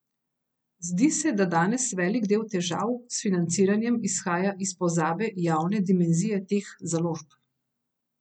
Zdi se, da danes velik del težav s financiranjem izhaja iz pozabe javne dimenzije teh založb.